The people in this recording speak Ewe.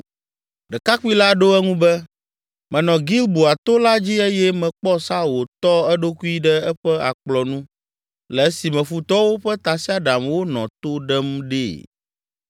Ɖekakpui la ɖo eŋu be, “Menɔ Gilboa to la dzi eye mekpɔ Saul wòtɔ eɖokui ɖe eƒe akplɔ nu le esime futɔwo ƒe tasiaɖamwo nɔ to ɖem ɖee.